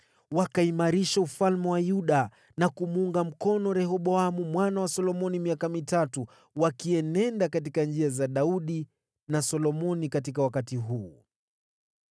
Wakaimarisha ufalme wa Yuda na kumuunga mkono Rehoboamu mwana wa Solomoni miaka mitatu, wakienenda katika njia za Daudi na Solomoni katika wakati huu.